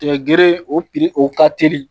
Tigɛ gere o pili o ka teli